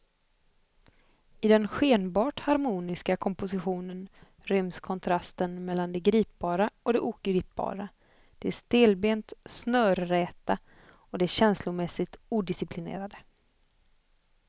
I den skenbart harmoniska kompositionen ryms kontrasten mellan det gripbara och det ogripbara, det stelbent snörräta och det känslomässigt odisciplinerade.